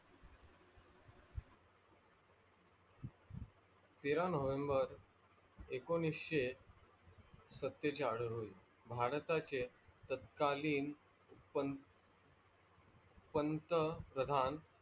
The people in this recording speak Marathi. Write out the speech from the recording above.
तेरा november एकोणविशे सतेचाळीस रोजी भारताचे तत्कालीन पंत प्रधान